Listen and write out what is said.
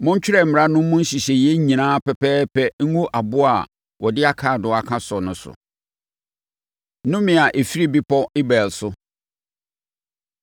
Montwerɛ mmara no mu nhyehyɛeɛ nyinaa pɛpɛɛpɛ ngu aboɔ a wɔde akaadoo aka so no so.” Nnome A Ɛfiri Bepɔ Ebal So